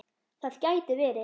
Það gæti verið